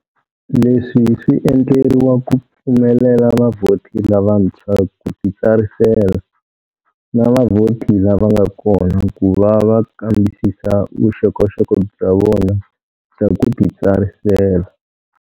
Leswi swi endleriwa ku pfumelela vavhoti lavantshwa ku titsarisela, na vavhoti lava nga kona ku va va kambisisa vuxokoxoko bya vona bya ku titsarisela.